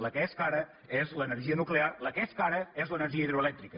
la que és cara és l’energia nuclear la que és cara és l’energia hidroelèctrica